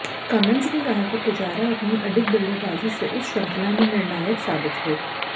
Cummins ने कहा कि पुजारा अपनी अडिग बल्लेबाजी से उस श्रृंखला में निर्णायक साबित हुए